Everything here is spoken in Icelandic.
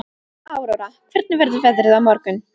Aurora, hvernig verður veðrið á morgun?